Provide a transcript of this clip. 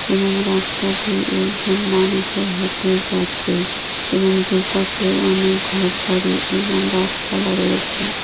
এবং রাস্তা দিয়ে একজন মানুষও হেঁটে যাচ্ছে এবং দুপাশে অনেক ঘরবাড়ি এবং গাছপালা রয়েছে।